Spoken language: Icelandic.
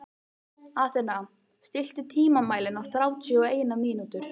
Athena, stilltu tímamælinn á þrjátíu og eina mínútur.